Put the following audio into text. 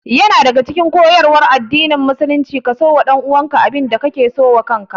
Yana daya daga cikin koyarwan addinin musulunci ka so wa ɗanuwanka abin da ka so wa kaka